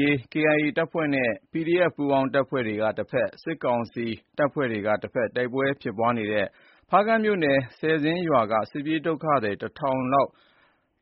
ရေးတပ်ဖွဲ့ KIA နဲ့ ပူးပေါင်း PDF တပ်ဖွဲ့တွေကတဖက် စစ်ကောင်စီတပ်ဖွဲ့တွေကတဖက် တိုက်ပွဲတွေဖြစ်ပွားနေတဲ့ ဖားကန့်မြို့နယ် ဆယ်ဇင်းရွာက စစ်ပြေးဒုက္ခသည် ၁ဝဝဝ လောက်